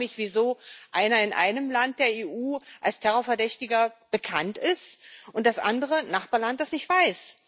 Ich frage mich, wieso einer in einem Land der EU als Terrorverdächtiger bekannt ist und das andere Nachbarland das nicht weiß.